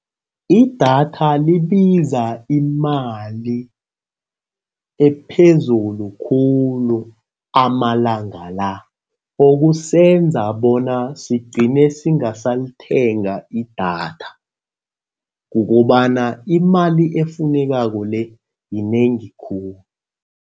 Idatha libiza imali ephezulu khulu amalanga la. Okusenza bona sigcine singasalithenga idatha. Kukobana imali efunekako le yinengi khulu.